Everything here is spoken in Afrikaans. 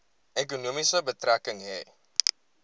ekonomie betrekking hê